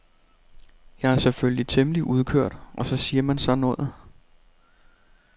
Jeg er selvfølgelig temmelig udkørt og så siger man sådan noget.